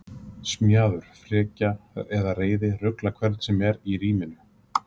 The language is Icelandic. Smjaður, frekja eða reiði ruglar hvern sem er í ríminu.